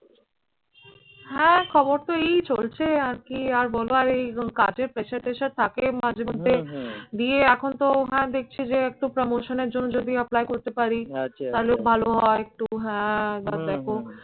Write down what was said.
হ্যাঁ খবর তো এই চলছে আরকি। আর বল এই কাজের pressure ট্রেসার থাকে মাঝেমধ্যে গিয়ে এখন তো আমার দেখছি যে একটু promotion এর জন্য যদি apply করতে পারি তালেও ভালো হয় একটু হ্যাঁ দ্যাখো